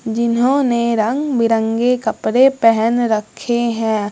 जिन्होंने रंग-बिरंगे कपड़े पहन रक्खे हैं।